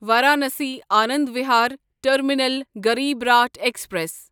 Varanasi Anand Vihar terminal Garib Rath express